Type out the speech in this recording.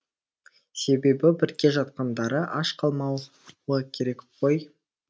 себебі бірге жатқандары аш қалмауы керек қой